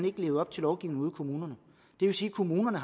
ikke levet op til lovgivningen kommunerne det vil sige at kommunerne